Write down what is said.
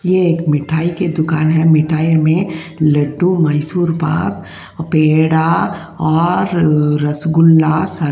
यह एक मिठाई की दुकान है। मिठाई हमें लड्डू मेसऊर पाक और पेड़ा और रसगुल्ला --